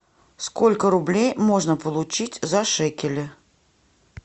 сколько рублей можно получить за шекели